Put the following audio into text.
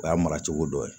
O y'a mara cogo dɔ ye